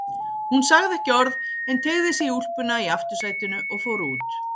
Hún sagði ekki orð en teygði sig í úlpuna í aftursætinu og fór út.